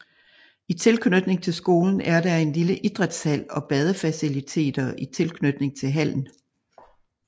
I tilknytning til skolen er der en lille idrætshal og badefaciliteter i tilknytning til hallen